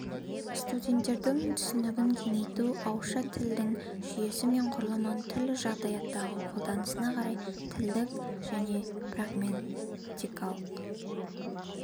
студенттердің түсінігін кеңейту ауызша тілдің жүйесі мен құрылмын түрлі жағдаяттағы қолданысына қарай тілдік және прагматикалық